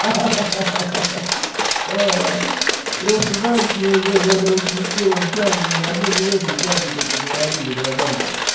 ха-ха ай просто знаешь мне уже бля короче не в первом чате ни в одной не в этом чате только говорили братан